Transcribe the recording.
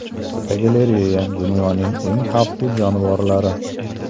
Fotogalereya: Dunyoning eng xavfli jonivorlari.